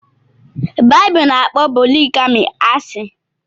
Bibulu n'akpo poligami ashi